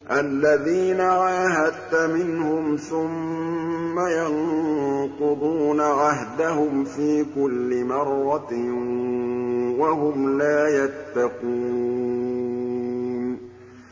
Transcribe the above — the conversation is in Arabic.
الَّذِينَ عَاهَدتَّ مِنْهُمْ ثُمَّ يَنقُضُونَ عَهْدَهُمْ فِي كُلِّ مَرَّةٍ وَهُمْ لَا يَتَّقُونَ